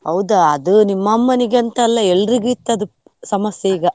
ಹೌದಾ ಅದು ನಿಮ್ಮ ಅಮ್ಮನಿಗೆ ಅಂತ ಅಲ್ಲಾ ಎಲ್ರಿಗೂ ಇರ್ತದೆ ಸಮಸ್ಯೆ ಈಗ.